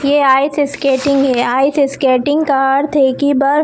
ये ice skating है ice skating का अर्थ है की बर्फ--